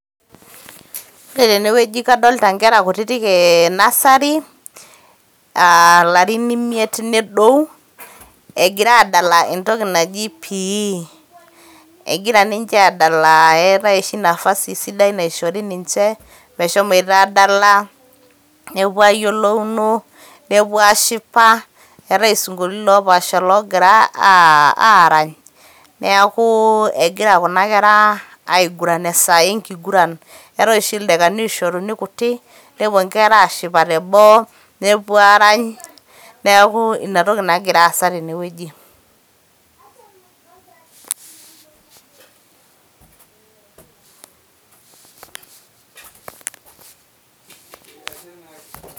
Ore tene weuji kadolita Enkera kutitik enasari ilarin imiet nedou, egira asdala entoki naj i Physical Exercise egira ninche asdala eetae oshi nafasi sidai naishori ninche meshomoita asdala nepuo ayiolouno, nepuo ashipa eetae esinkolitin loopaasha logira aarany neeku egira Kuna Kera aada esaa engiguran, eetae oshi ildakani oishoruni kutii nepuo enkera aashipa teboo nepuo aarany, neeku Ina toki nagira aasa tene weuji.